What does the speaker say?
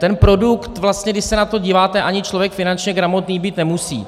Ten produkt vlastně, když se na to díváte, ani člověk finančně gramotný být nemusí.